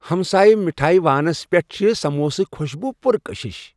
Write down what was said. ہمسایہ مٹھایہ وانس پیٹھ چھِ ِ سموسُک خوشبوُ پُر کشش ۔